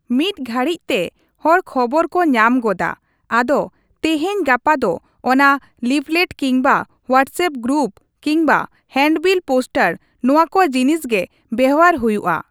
ᱢᱤᱫ ᱜᱷᱟᱹᱲᱤᱡᱛᱮ ᱦᱚᱲ ᱠᱷᱚᱵᱚᱨ ᱠᱚ ᱧᱟᱢ ᱜᱚᱫᱟ ᱟᱫᱚ ᱛᱤᱦᱤᱧ ᱜᱟᱯᱟ ᱫᱚ ᱚᱱᱟ ᱞᱤᱯᱷᱞᱮᱴ ᱠᱤᱢᱵᱟ ᱦᱳᱣᱟᱴᱥᱮᱯ ᱜᱨᱩᱯ ᱠᱤᱢᱵᱟ ᱦᱮᱱᱰᱵᱤᱞ ᱯᱳᱥᱴᱟᱨ ᱱᱚᱣᱟ ᱠᱚ ᱡᱤᱱᱤᱥ ᱜᱮ ᱵᱮᱵᱦᱟᱨ ᱦᱩᱭᱩᱜᱼᱟ ᱾